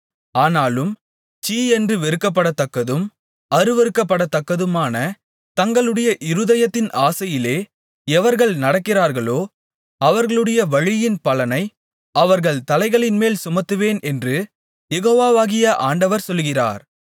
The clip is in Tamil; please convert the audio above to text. ஆனாலும் சீ என்று வெறுக்கப்படத்தக்கதும் அருவருக்கப்படத்தக்கதுமான தங்களுடைய இருதயத்தின் ஆசையிலே எவர்கள் நடக்கிறார்களோ அவர்களுடைய வழியின் பலனை அவர்கள் தலைகளின்மேல் சுமத்துவேன் என்று யெகோவாகிய ஆண்டவர் சொல்லுகிறார்